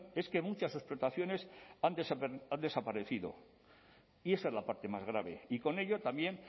es que muchas explotaciones han desaparecido y esa es la parte más grave y con ello también